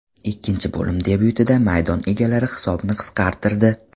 Ikkinchi bo‘lim debyutida maydon egalari hisobni qisqartirdi.